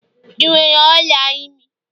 ị nwere ola imi?